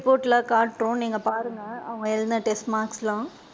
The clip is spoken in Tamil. Report லா காட்டுவோம் நீங்க பாருங்க அவுங்க எழுதுன test papers லா.